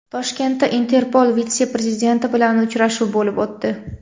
Toshkentda Interpol vitse-prezidenti bilan uchrashuv bo‘lib o‘tdi.